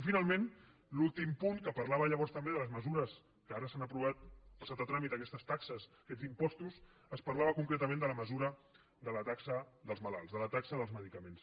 i finalment l’últim punt que parlava llavors també de les mesures que ara s’han aprovat han passat a tràmit aquestes taxes aquests impostos parlava concretament de la mesura de la taxa dels malalts de la taxa dels medicaments